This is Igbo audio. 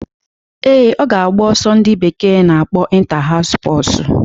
Ee, ọ ga-agba ọsọ ndị bekee na-akpọ Inta-haus spọsu